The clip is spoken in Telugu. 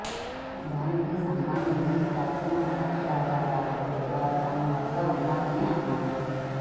దానికి సంబంధించి ప్రాచీన సాక్ష్యాధారాలు కూడా తమ వద్ద ఉన్నాయని అన్నారు